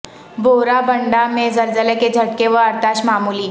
بورا بنڈہ میں زلزلہ کے جھٹکے و ارتعاش معمولی